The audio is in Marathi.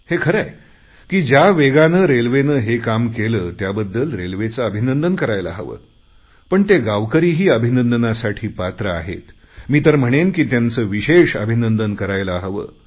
हे खरे आहे की ज्या वेगाने रेल्वेने हे काम केले त्याबद्दल रेल्वेचे अभिनंदन करायला हवे पण ते गावकरीही अभिनंदनासाठी पात्र आहेत मी तर म्हणेन की त्यांचे विशेष अभिनंदन करायला हवे